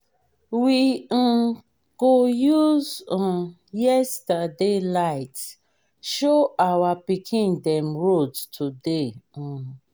we um go use um yesterday light show our pikin dem road today. um